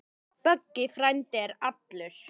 Böggi frændi er allur.